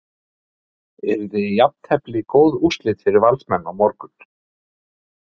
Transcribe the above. Yrði jafntefli góð úrslit fyrir Valsmenn á morgun?